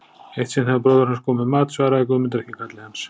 Eitt sinn þegar bróðir hans kom með mat svaraði Guðmundur ekki kalli hans.